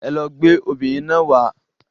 Ẹlọ gbé obìnrin náà wàá.